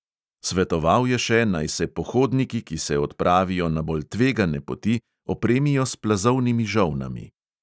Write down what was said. Svetoval je še, naj se pohodniki, ki se odpravijo na bolj tvegane poti, opremijo s plazovnimi žolnami.